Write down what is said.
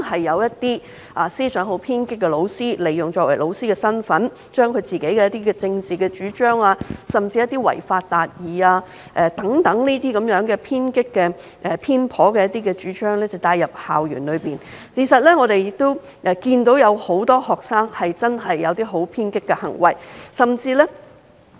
一些思想偏頗的老師利用其教師身份，將自己的政治主張，甚至一些違法達義等偏激偏頗的主張帶入校園，而我們的確看到很多學生曾做出偏激的行為。